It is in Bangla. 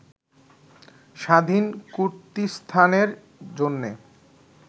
স্বাধীন কুর্দিস্তানের জন্যে